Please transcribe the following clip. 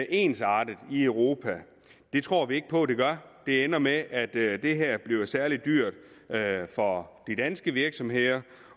ensartet i europa det tror vi ikke på det gør det ender med at at det her bliver særlig dyrt for de danske virksomheder